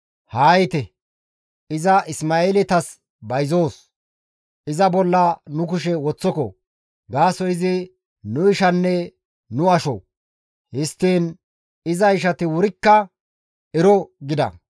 Haa yiite; iza Isma7eeletas bayzoos; iza bolla nu kushe woththoko; gaasoykka izi nu ishanne nu asho.» Histtiin iza ishati wurikka ero gida.